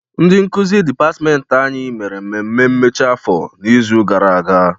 Ndị nkuzi dịpatịmentị anyị mere mmemme mmechi afọ n'izu gara aga.